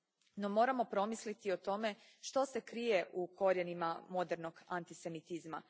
No, moramo promisliti o tome što se krije u korijenima modernog antisemitizma.